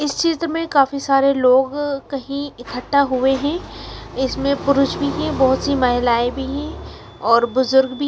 इस चित्र में काफ़ी सारे लोग कहीं इकट्ठा हुए है इसमें पुरुष भी है बहोत सी महिलाएं भी है और बुजुर्ग भी--